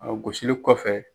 A gosili kɔfɛ.